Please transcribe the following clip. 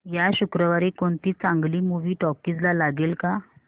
या शुक्रवारी कोणती चांगली मूवी टॉकीझ ला लागेल का